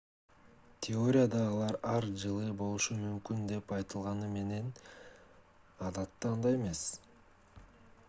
теорияда алар ар жылы болушу мүмкүн деп айтылганы менен эгер ар кайсы өлкөдө болсо адатта андай эмес